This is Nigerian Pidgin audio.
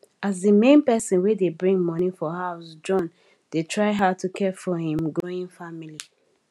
as di main person wey dey bring money for house john dey try hard to care for him growing family